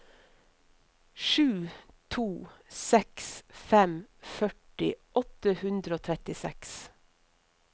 sju to seks fem førti åtte hundre og trettiseks